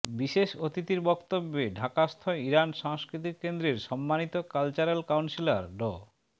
বিশেষ অতিথির বক্তব্যে ঢাকাস্থ ইরান সাংস্কৃতিক কেন্দ্রের সম্মানিত কালচারাল কাউন্সিলর ড